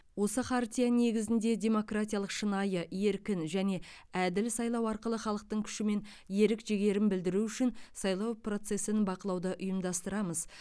осы хартия негізінде демократиялық шынайы еркін және әділ сайлау арқылы халықтың күші мен ерік жігерін білдіру үшін сайлау процесін бақылауды ұйымдастырамыз